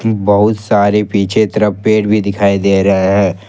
बहुत सारे पीछे तरफ पेड़ भी दिखाई दे रहे हैं।